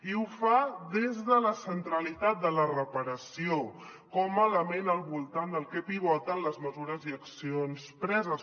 i ho fa des de la centralitat de la reparació com a element al voltant del que pivoten les mesures i accions preses